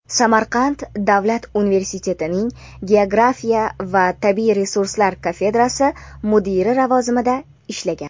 Samarqand davlat universitetining geografiya va tabiiy resurslar kafedrasi mudiri lavozimida ishlagan.